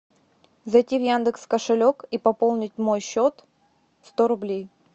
зайти в яндекс кошелек и пополнить мой счет сто рублей